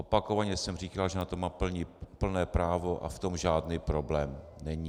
Opakovaně jsem říkal, že na to má plné právo a v tom žádný problém není.